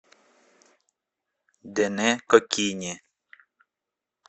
дэне кокине